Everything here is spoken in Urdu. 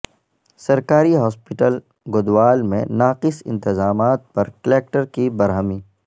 سرکاری ہاسپٹل گدوال میں ناقص انتظامات پر کلکٹر کی برہمی